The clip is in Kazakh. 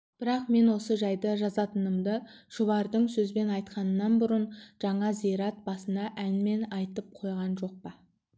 бірақ мен осы жайды жазатынымды шұбардың сөзбен айтқанынан бұрын жаңа зират басында әнмен айтып қойғам жоқ па